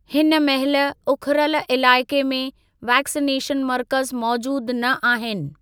हिन महिल उखरुल इलाइक़े में वैक्सिनेशन मर्कज़ मौजूद न आहिनि।